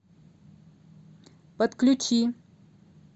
подключи